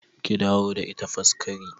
Ki dawo da ita Faskari!